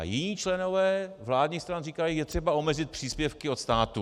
A jiní členové vládních stran říkají: Je třeba omezit příspěvky od státu.